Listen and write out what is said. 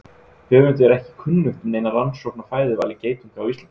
Höfundi er ekki kunnugt um neina rannsókn á fæðuvali geitunga á Íslandi.